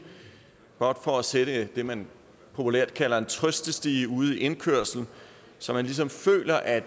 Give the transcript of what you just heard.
blot for at sætte det man populært kalder en trøstestige ude i indkørslen så man ligesom føler at